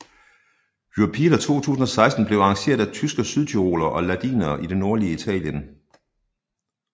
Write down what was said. Europeada 2016 blev arrangeret af tyske sydtyrolere og ladinere i det nordlige Italien